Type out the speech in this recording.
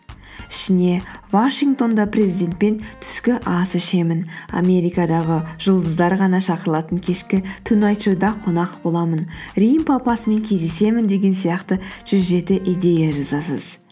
ішіне вашингтонда президентпен түскі ас ішемін америкадағы жұлдыздар ғана шақырылатын кешкі тунайт шоуда қонақ боламын рим папасымен кездесемін деген сияқты жүз жеті идея жазасыз